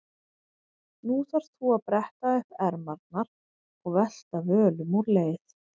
Nú þarft þú að bretta upp ermarnar og velta völum úr leið.